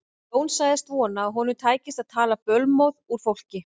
Jón sagðist vona að honum tækist að tala bölmóð úr fólki.